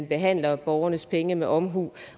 behandler borgernes penge med omhu